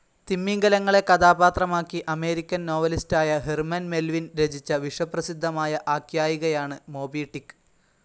തിമിംഗലങ്ങളെ കഥാപാത്രമാക്കി അമേരിക്കൻ നോവലിസ്റായ Herman Melvin രചിച്ച വിശ്വപ്രസിദ്ധമായ ആഖ്യായികയാണ് മോബി ടിക്ക്‌